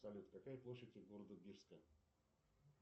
салют какая площадь у города бирска